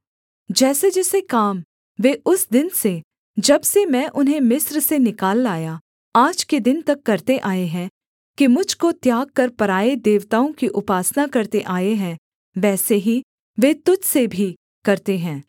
जैसेजैसे काम वे उस दिन से जब से मैं उन्हें मिस्र से निकाल लाया आज के दिन तक करते आए हैं कि मुझ को त्याग कर पराए देवताओं की उपासना करते आए हैं वैसे ही वे तुझ से भी करते हैं